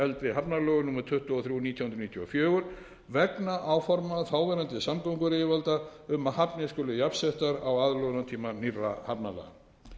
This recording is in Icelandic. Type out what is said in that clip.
eldri hafnalögum númer tuttugu og þrjú nítján hundruð níutíu og fjögur vegna áforma þáverandi samgönguyfirvalda um að hafnir skuli jafnsettar á aðlögunartíma nýrra hafnalaga